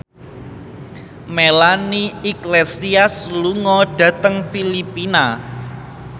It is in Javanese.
Melanie Iglesias lunga dhateng Filipina